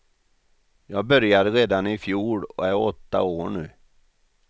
Jag började redan i fjol och är åtta år nu.